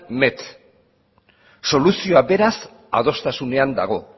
met soluzioa beraz adostasunean dago